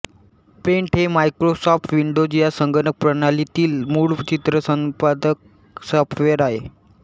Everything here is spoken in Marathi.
पेंट हे मायक्रोसॉफ्ट विंडोज या संगणक प्रणालीतील मूळ चित्र संपादक सॉफ्टवेर आहे